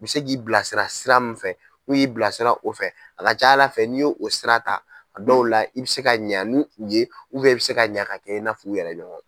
I bɛ se k'i bilasira sira min fɛ n'u y'i bilasira o fɛ a ka ca Ala fɛ ni i y'o sira ta a dɔw la i bɛ se ka ɲa ni u ye i bɛ se ka ɲa ka kɛ i n'a fɔ u yɛrɛ ɲɔgɔn.